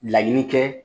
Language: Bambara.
Laɲini kɛ